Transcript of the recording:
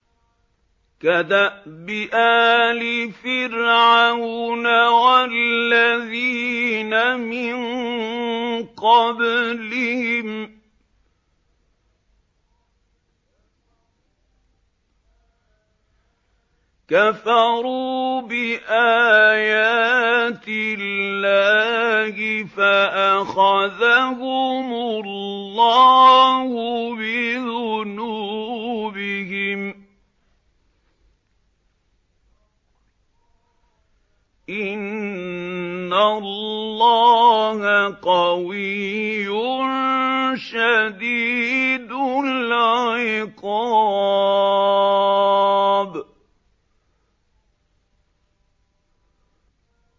كَدَأْبِ آلِ فِرْعَوْنَ ۙ وَالَّذِينَ مِن قَبْلِهِمْ ۚ كَفَرُوا بِآيَاتِ اللَّهِ فَأَخَذَهُمُ اللَّهُ بِذُنُوبِهِمْ ۗ إِنَّ اللَّهَ قَوِيٌّ شَدِيدُ الْعِقَابِ